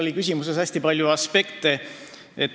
Teie küsimuses oli hästi palju aspekte.